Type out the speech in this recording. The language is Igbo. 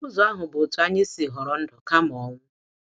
Ụzọ ahụ bụ otu anyị si họrọ ndụ kama ọnwụ.